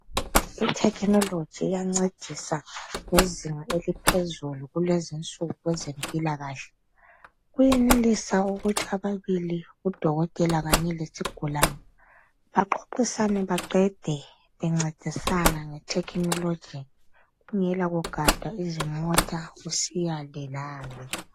I-technology iyancedisa ngezinga eliphezulu kulezinsuku kwezempilakahle. Kuyenelisa ukuthi ababili udokotela kanye lesigulane baxoxisane baqede bencedisana nge-technology kungela kugada izimota usiya le, la le.